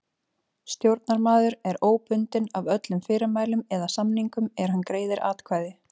Stjórnarmaður er óbundinn af öllum fyrirmælum eða samningum er hann greiðir atkvæði.